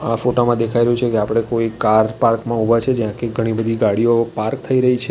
આ ફોટામાં દેખાઈ રહ્યુ છે કે આપડે કોઇ કાર પાર્ક માં ઊભા છે જ્યાં કે ઘણી બધી ગાડીઓ પાર્ક થઈ રહી છે.